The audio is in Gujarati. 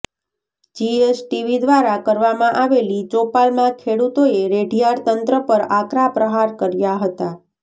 જીએસટીવી દ્વારા કરવામાં આવેલી ચોપાલમાં ખેડૂતોએ રેઢીયાર તંત્ર પર આકરા પ્રહાર કર્યા હતા